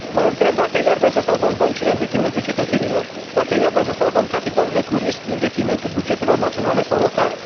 Mă întreb dacă iar vrem să salvăm băncile în detrimentul cetățenilor, dacă iar vrem să salvăm capitalurile cu risc în detrimentul bugetelor naționale sau locale?